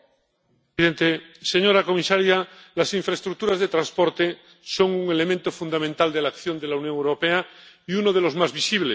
Señor presidente, señora comisaria, las infraestructuras de transporte son un elemento fundamental de la acción de la Unión Europea y uno de los más visibles.